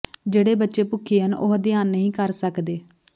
ਜਿਹੜੇ ਬੱਚੇ ਭੁੱਖੇ ਹਨ ਉਹ ਅਧਿਐਨ ਨਹੀਂ ਕਰ ਸਕਦੇ